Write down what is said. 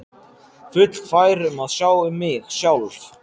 Fullfær um að sjá um mig sjálf.